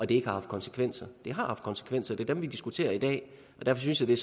det ikke har haft konsekvenser det har haft konsekvenser det dem vi diskuterer i dag derfor synes jeg